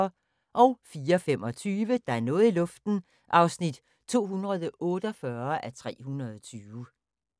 04:25: Der er noget i luften (248:320)